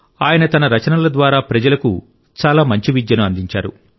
ఆయన తన రచనల ద్వారా ప్రజలకు చాలా మంచి విద్యను అందించారు